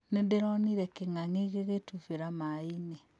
Nĩndĩronire kĩng'ang'i gĩgĩtubĩra maĩ-inĩ